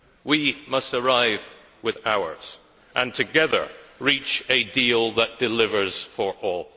We must arrive with ours and together reach a deal that delivers for all.